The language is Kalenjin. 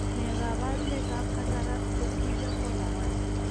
Ne kaabarunetap Cataract, posterior polar, 1?